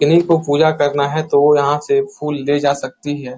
किन्हीं को पूजा करना है तो वो यहाँ से फूल ले जा सकती है।